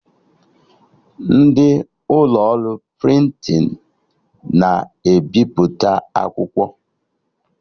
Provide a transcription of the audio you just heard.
Ndị ụlọ ọrụ prịntịn na-ebiputa akwụkwọ